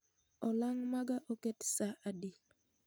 Olang' maga oket saa adi